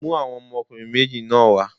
Mú àwọn ọmọkùnrin méjì náà wá.!